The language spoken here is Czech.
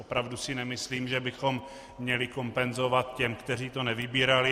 Opravdu si nemyslím, že bychom měli kompenzovat těm, kteří to nevybírali.